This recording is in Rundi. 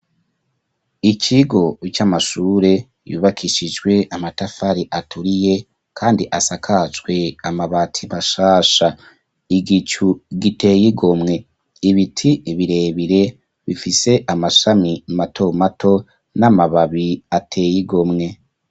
Ikigo c'amashure yubakishijwe amatafari aturiye kandi asakaJwe amabati mashasha .Igicu giteyigomwe ibiti birebire bifise amashami mato mato n'amababi ateyigomwe.